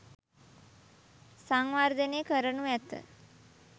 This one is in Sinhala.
සංවර්ධනය කරනු ඇත